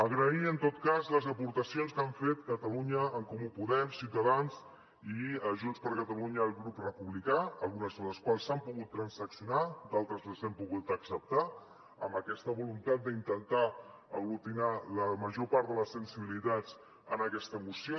agrair en tot cas les aportacions que han fet catalunya en comú podem ciutadans i junts per catalunya el grup republicà algunes de les quals s’han pogut transaccionar d’altres les hem pogut acceptar amb aquesta voluntat d’intentar aglutinar la major part de les sensibilitats en aquesta moció